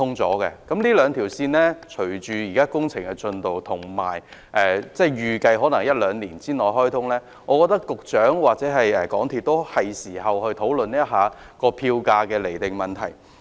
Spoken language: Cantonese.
隨着這兩條路線的工程推進，以及預計可於一兩年內開通，我認為局長或港鐵公司是時候討論釐定票價的問題。